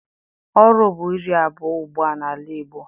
Oru bụ iri abụọ ugbua n'ala Igbo.